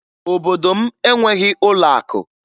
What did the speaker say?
Obodo m enweghi ụlọakụ